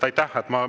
Aitäh!